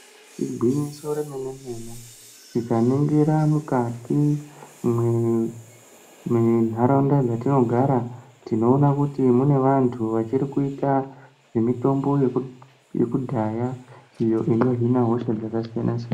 Igwinyiso remene mene tikaningira mwukati mwentharaunda dzatinogara. Tiona kuti mune vanthu vachiri kuita zvemitombo yekudhaya iyo inohina hosha dzakasiyana siyana.